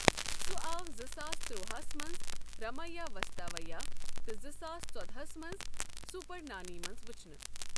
سُہ آو زٕ ساس تُروا ہَس منٛز رامایا واستوایا تہٕ زٕ ساس ژۄدہاس منٛز سپر نانی منٛز ؤچھنہٕ۔